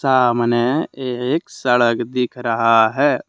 सामने एक सड़क दिख रहा है।